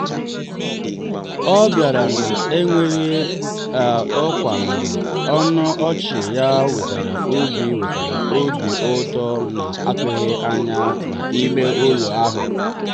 ọ bịara na-enweghị ọkwa mana ọnụ ọchị ya wetara obi wetara obi ụtọ na-atụghị anya ya n'ime ụlọ ahụ.